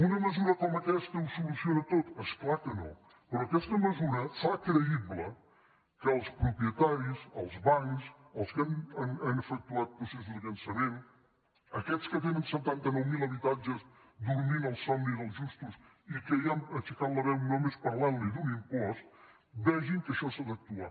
una mesura com aquesta ho soluciona tot és clar que no però aquesta mesura fa creïble que els propietaris els bancs els que han efectuat processos de llançament aquests que te·nen setanta nou mil habitatges dormint el somni dels justos i que ja han aixecat la veu només parlant·li d’un impost ve·gin que en això s’ha d’actuar